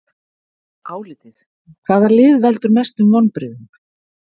Álitið: Hvaða lið veldur mestum vonbrigðum?